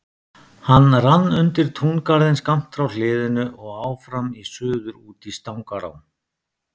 Hann rann undir túngarðinn skammt frá hliðinu og áfram í suður út í Stangará.